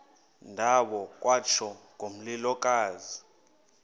ndawo kwatsho ngomlilokazi